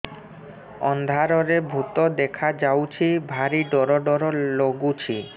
ଅନ୍ଧାରରେ ଭୂତ ଦେଖା ଯାଉଛି ଭାରି ଡର ଡର ଲଗୁଛି